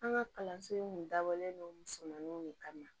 An ka kalanso in kun dabɔlen don musomaninw de kama